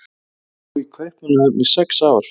Ég bjó í Kaupmannahöfn í sex ár.